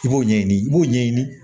I b'o ɲɛɲini i b'o ɲɛɲini